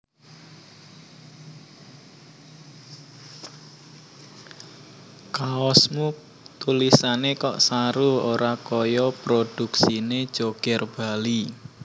Kaosmu tulisane kok saru ora koyo produksine Joger Bali